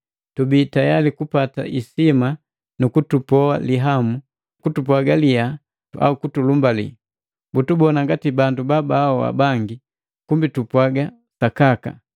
tubii tayali kupata isima nu kutupoa lihamu, kutupwaga liha au kutulumbali. Butubona ngati bandu babaahoa bangi, kumbi tupwaaga sakaka,